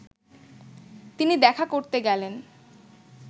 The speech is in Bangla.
তিনি দেখা করতে গেলেন